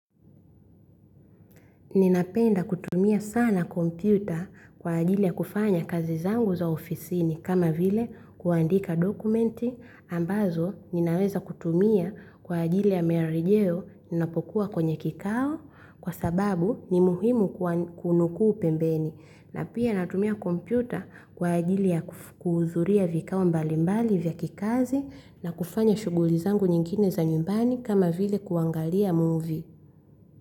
Ninapenda kutumia sana kompyuta kwa ajili ya kufanya kazi zangu za ofisini kama vile kuandika dokumenti ambazo ninaweza kutumia kwa ajili ya miarejeo ninapokuwa kwenye kikao kwa sababu ni muhimu kunukuu pembeni. Na pia natumia kompyuta kwa ajili ya kuhudhuria vikao mbalimbali vya kikazi na kufanya shughuli zangu nyingine za nyumbani kama vile kuangalia muvi.